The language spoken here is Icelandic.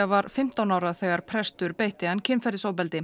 var fimmtán ára þegar prestur beitti hann kynferðisofbeldi